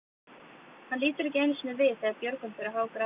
Hann lítur ekki einu sinni við þegar Björgvin fer að hágráta.